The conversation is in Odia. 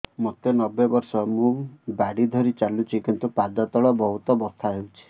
ମୋତେ ନବେ ବର୍ଷ ମୁ ବାଡ଼ି ଧରି ଚାଲୁଚି କିନ୍ତୁ ପାଦ ତଳ ବହୁତ ବଥା ହଉଛି